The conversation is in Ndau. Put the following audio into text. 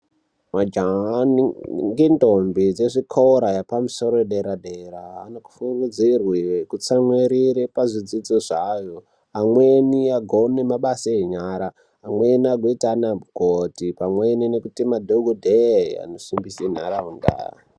Majaha ngendombi dzezvikora zvepamusoro pedera dera anofingidzirwe kuti atsamwirere pazvidzidzo zvavo, amweni agone nabasa enyara, amweni agoita anamukoti pamwe nekuite madhokodheya anosimbisa nharaunda.